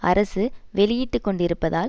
அரசு வெளியிட்டு கொண்டிருப்பதால்